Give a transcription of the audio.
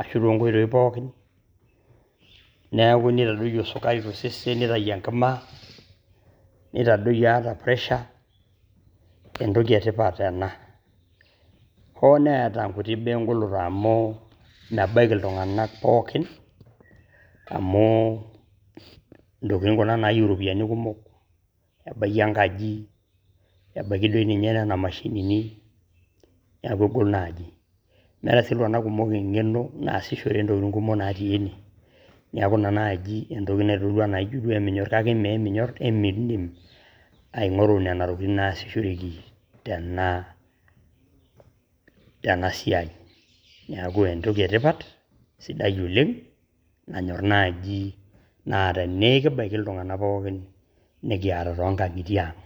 Ashu too nkoitoi pookin niaku neitadotio sukari to sesen, neitayu enkima , neitadoyio ata pressure. Entoki e tipat ena, hoo neeta nkutik baa e ng`oloto amu mebaiki iltung`anak pookin. Amu ntokitin kuna naayieu irropiyiani kumok ebaiki enkaji, ebaiki doi ninye nena mashinini niaku egol naaji. Meeta sii iltung`anak kumok eng`eno naasishore ntokitin kumok natii ene niaku ina naaji entoki naitodolu enaa ijo duo eminyor. Kake mme eminyorr emiidim aing`oru nena tokitin kumok naasishoreki tena, tena siai. Niaku entoki e tipat sidai oleng, nanyorr naaji naa tenaa ekibaiki iltung`anak pookin nikiata too nkang`itie ang.